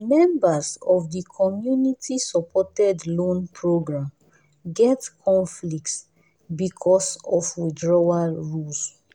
the members of the community-supported loan program get conflict because of withdrawal rules.